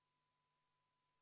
Siis me oleme ühel meelel.